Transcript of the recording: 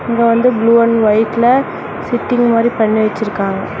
இதுல வந்து blue and ஒய்ட்ல சிட்டிங் மாதிரி பண்ணி வச்சிருக்காங்க.